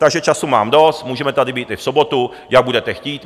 Takže času mám dost, můžeme tady být i v sobotu, jak budete chtít.